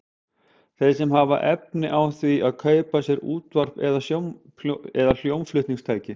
Þeir sem hafa efni á því að kaupa sér útvarp eða hljómflutningstæki.